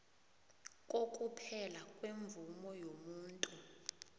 kokuphela kwemvumo yomuntu